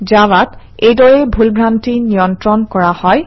জাভাত এইদৰেই ভুল ভ্ৰান্তি নিয়ন্ত্ৰণ কৰা হয়